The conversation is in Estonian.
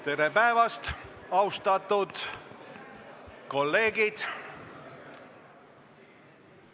Tere päevast, austatud kolleegid!